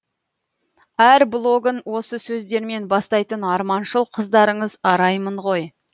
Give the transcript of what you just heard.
әр блогын осы сөздермен бастайтын арманшыл қыздарыңыз араймын ғой